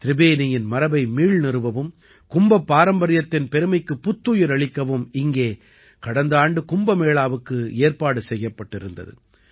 திரிபேனியின் மரபை மீள் நிறுவவும் கும்பப் பாரம்பரியத்தின் பெருமைக்குப் புத்துயிர் அளிக்கவும் இங்கே கடந்த ஆண்டு கும்ப மேளாவுக்கு ஏற்பாடு செய்யப்பட்டிருந்தது